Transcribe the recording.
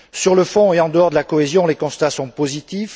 Sur le fond, et en dehors de la cohésion, les constats sont positifs.